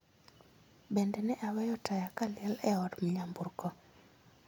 Bende ne aweyo taya kaliel e od myamburko